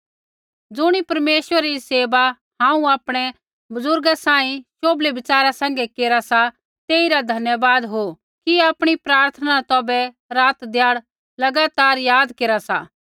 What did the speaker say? ज़ुणी परमेश्वरै री सेवा हांऊँ आपणै बुज़ुर्गा सांही शोभलै विचारा सैंघै केरा सा तेइरा धन्यवाद हो कि आपणी प्रार्थना न तौभै रातध्याड़ लगातार याद केरा सा